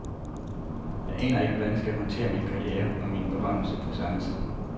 Jeg aner ikke, hvordan jeg skal håndtere min karriere og min berømmelse på samme tid.